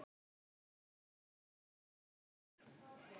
Rigning og rok!